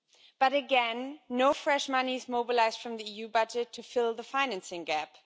But again, no fresh money is being mobilised from the EU budget to fill the financing gap.